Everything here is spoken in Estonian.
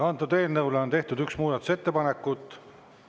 Antud eelnõu kohta on tehtud üks muudatusettepanekut.